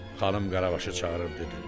Xanım Qarabaşı çağırıb dedi.